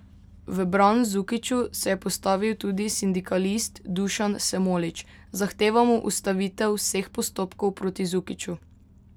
V bran Zukiću se je postavil tudi sindikalist Dušan Semolič: 'Zahtevamo ustavitev vseh postopkov proti Zukiću.